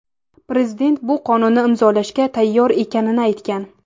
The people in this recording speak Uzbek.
Prezident bu qonunni imzolashga tayyor ekanini aytgan.